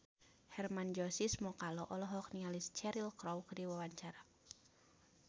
Hermann Josis Mokalu olohok ningali Cheryl Crow keur diwawancara